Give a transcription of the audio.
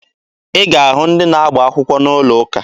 Ị ga-ahụ ndị na-agba akwụkwọ n'ụlọ ụka.